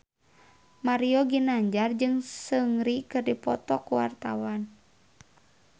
Mario Ginanjar jeung Seungri keur dipoto ku wartawan